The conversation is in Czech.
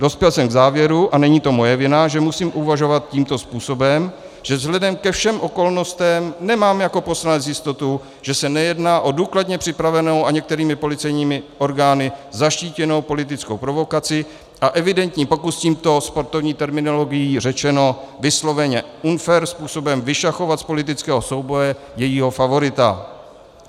Dospěl jsem k závěru - a není to moje vina, že musím uvažovat tímto způsobem - že vzhledem ke všem okolnostem nemám jako poslanec jistotu, že se nejedná o důkladně připravenou a některými policejními orgány zaštítěnou politickou provokaci a evidentní pokus tímto, sportovní terminologií řečeno, vysloveně unfair způsobem, vyšachovat z politického souboje jejího favorita.